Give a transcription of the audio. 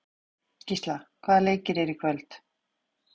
Gísla, hvaða leikir eru í kvöld?